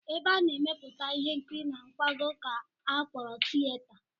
Ebe a na-emepụta ihe nkiri na nkwago ka a kpọrọ tiyeta